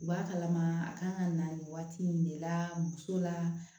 U b'a kalama a kan ka na nin waati in de la muso la